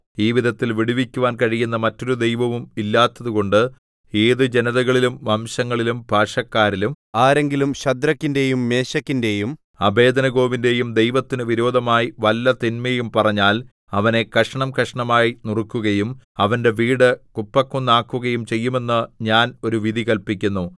ഈ വിധത്തിൽ വിടുവിക്കുവാൻ കഴിയുന്ന മറ്റൊരു ദൈവവും ഇല്ലാത്തതുകൊണ്ട് ഏതു ജനതകളിലും വംശങ്ങളിലും ഭാഷക്കാരിലും ആരെങ്കിലും ശദ്രക്കിന്റെയും മേശക്കിന്റെയും അബേദ്നെഗോവിന്റെയും ദൈവത്തിന് വിരോധമായി വല്ല തിന്മയും പറഞ്ഞാൽ അവനെ കഷണംകഷണമായി നുറുക്കുകയും അവന്റെ വീട് കുപ്പക്കുന്നാക്കുകയും ചെയ്യുമെന്ന് ഞാൻ ഒരു വിധി കല്പിക്കുന്നു